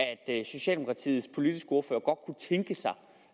at socialdemokratiets politiske ordfører godt tænke sig